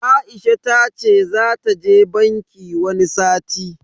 Aisha tace zata je banki wani sati.